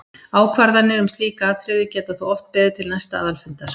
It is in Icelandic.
Ákvarðanir um slík atriði geta þó oft beðið til næsta aðalfundar.